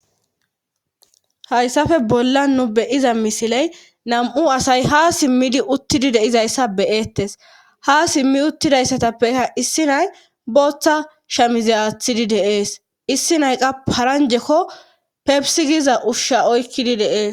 hayssafe bolla nu be'iza misiley nam7u asay ha simmidi uttidi deizayssa beyeettes ha simmi uttidayssatappekka issi nay booththa shamize aathidi de'ees issi nayqa paranjekko pebisigiza ushsha oykkidi de'ees